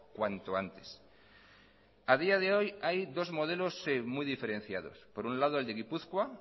cuanto antes a día de hoy hay dos modelos muy diferenciados por un lado el de gipuzkoa